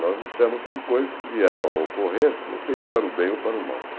Nós lutamos por coisas que vieram a ocorrer, não sei se para o bem ou para o mal.